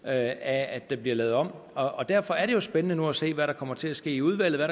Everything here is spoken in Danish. af at det bliver lavet om derfor er det jo spændende nu at se hvad der kommer til at ske i udvalget og